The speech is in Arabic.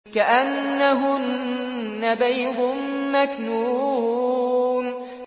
كَأَنَّهُنَّ بَيْضٌ مَّكْنُونٌ